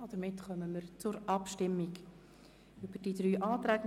Damit kommen wir zur Abstimmung über die drei Anträge.